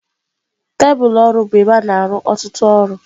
Tebụlụ ọrụ bụ ebe a na-arụ ọtụtụ ọrụ.